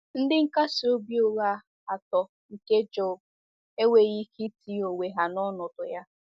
Ndị nkasi obi ụgha atọ nke Job enweghị ike itinye onwe ha n’ọnọdụ ya.